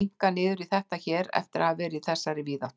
Að minnka niður í þetta hér eftir að hafa verið í þessari víðáttu.